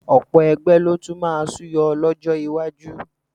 Ọ̀pọ̀ ẹgbẹ́ ló tún máa súyọ lọ́jọ́ iwájú